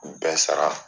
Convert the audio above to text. Bɛɛ sara